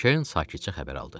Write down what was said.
Kerin sakitcə xəbər aldı.